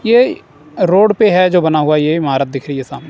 ये रोड पे है जो बना हुआ ये ईमारत दिख रही साम--